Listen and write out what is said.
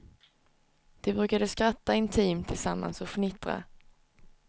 De brukade skratta intimt tillsammans och fnittra.